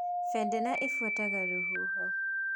Bendera ĩbuataga rũhuho